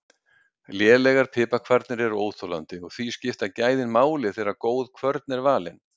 Lélegar piparkvarnir eru óþolandi og því skipta gæðin máli þegar góð kvörn er valin.